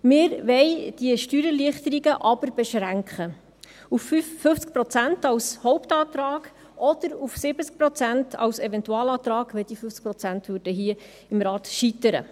Wir wollen die Steuererleichterung aber auf 50 Prozent beschränken – dies als Hauptantrag – oder auf 70 Prozent als Eventualantrag, falls die 50 Prozent hier im Rat scheitern.